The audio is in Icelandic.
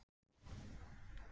Loðnir leggirnir þegjandalegir.